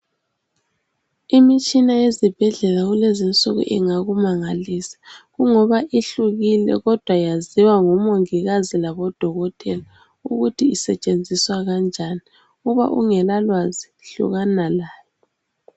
Imitshina yezibhedlela kulezi insuku ingakumangalisa kungoba ihlukile kodwa yaziwa ngabomongikazi labodokotela ukuthi isetshenziswa njani. Uma ungala lwazi, hlukana layo.